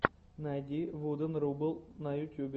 найди вуден рубл на ютьюбе